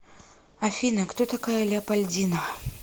афина кто такая леопольдина